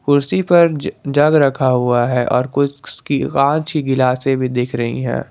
कुर्सी पर जग रखा हुआ है और कुछ उसकी कांच की गिलासें भी देख रही है।